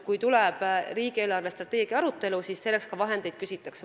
Kui tuleb riigi eelarvestrateegia arutelu, siis selleks ka vahendeid küsitakse.